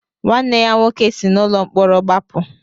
Nwanne ya nwoke si n'ụlọ mkpọrọ gbapụ.